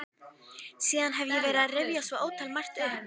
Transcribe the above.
Síðan hef ég verið að rifja svo ótalmargt upp.